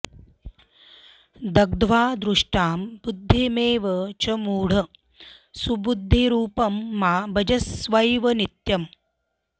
दग्ध्वा दुष्टां बुद्धिमेवं च मूढ सुबुद्धिरूपं मा भजस्वैव नित्यम्